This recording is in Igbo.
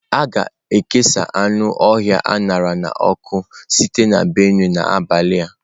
A ga-ekesa anụ ọhịa a ṅara n'ọkụ sitere na Benue n'abalị a.